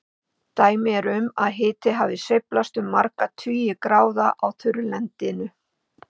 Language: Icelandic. Dæmi eru um að hiti hafi sveiflast um marga tugi gráða á þurrlendinu.